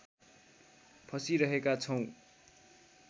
फसिरहेका छौँ